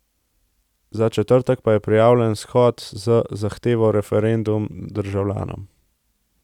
Za četrtek pa je prijavljen shod z zahtevo Referendum državljanom.